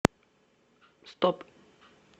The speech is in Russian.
стоп